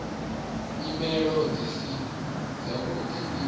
nyimele dzi si dzavhuḓi ḽi